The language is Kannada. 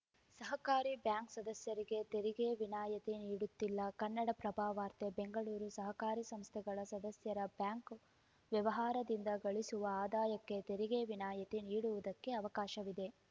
ಸಹಕಾರಿ ಬ್ಯಾಂಕ್‌ ಸದಸ್ಯರಿಗೆ ತೆರಿಗೆ ವಿನಾಯಿತಿ ನೀಡುತ್ತಿಲ್ಲ ಕನ್ನಡಪ್ರಭ ವಾರ್ತೆ ಬೆಂಗಳೂರು ಸಹಕಾರಿ ಸಂಸ್ಥೆಗಳ ಸದಸ್ಯರ ಬ್ಯಾಂಕ್‌ ವ್ಯವಹಾರದಿಂದ ಗಳಿಸುವ ಆದಾಯಕ್ಕೆ ತೆರಿಗೆ ವಿನಾಯಿತಿ ನೀಡುವುದಕ್ಕೆ ಅವಕಾಶವಿದೆ